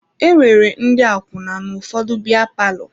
E nwere ndị akwụna n'ụfọdụ biya palọ.